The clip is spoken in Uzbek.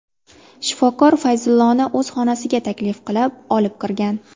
Shifokor Fayzulloni o‘z xonasiga taklif qilib, olib kirgan.